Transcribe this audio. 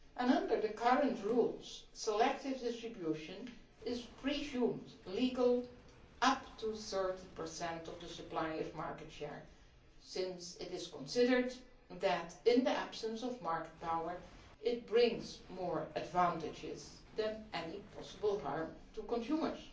Under the current rules, selective distribution is presumed legal up to 30 of the supplier's market share, since it is considered that in the absence of market power it brings more advantages than any possible harm to consumers.